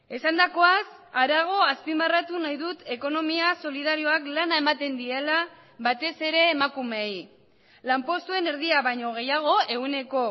esandakoaz harago azpimarratu nahi dut ekonomia solidarioak lana ematen diela batez ere emakumeei lanpostuen erdia baino gehiago ehuneko